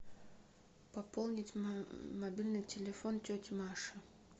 пополнить мобильный телефон тети маши